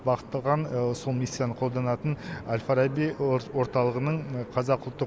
бағытталған сол мистиканы қолданатын әл фараби орталығының қазақ ұлттық